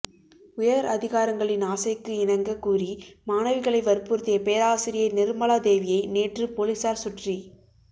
உயர் அதிகாரிகளின் ஆசைக்கு இணங்க கூறி மாணவிகளை வற்புருத்திய பேராசிரியை நிர்மலா தேவியை நேற்று போலீசார் சுற்றி